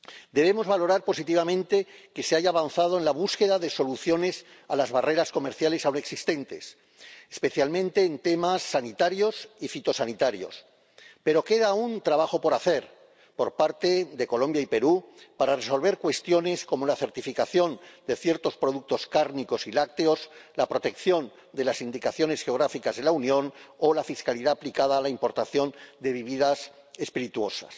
Debemos valorar positivamente que se haya avanzado en la búsqueda de soluciones a las barreras comerciales ahora existentes, especialmente en temas sanitarios y fitosanitarios, pero queda aún trabajo por hacer, por parte de Colombia y Perú, para resolver cuestiones como la certificación de ciertos productos cárnicos y lácteos, la protección de las indicaciones geográficas de la Unión o la fiscalidad aplicada a la importación de bebidas espirituosas.